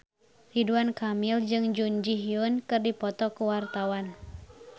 Ridwan Kamil jeung Jun Ji Hyun keur dipoto ku wartawan